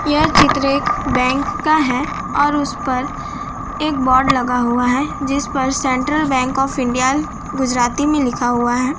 यह चित्र एक बैंक का है और उस पर एक बोर्ड लगा हुआ है जिस पर central bank of India Gujarati में लिखा हुआ है।